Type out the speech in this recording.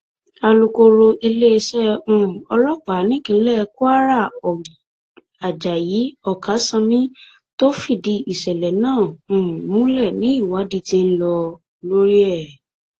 alūkọrọ iléeṣẹ um ọlọpàá nípínlẹ kwara ajayi oksanami tó fìdí ìṣẹlẹ náà um múlẹ ni ìwádì ti ń lọ lórí ẹ